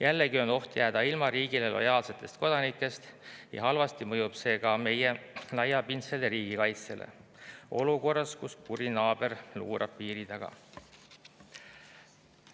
Jällegi on oht jääda ilma riigile lojaalsetest kodanikest ja halvasti mõjub see ka meie laiapindsele riigikaitsele olukorras, kus kuri naaber luurab piiri taga.